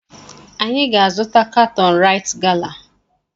Anyị ga-azụta katọn raịt gala.